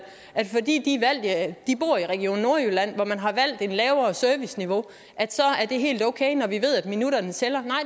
at fordi de bor i region nordjylland hvor man har valgt et lavere serviceniveau er det helt okay når vi ved at minutterne tæller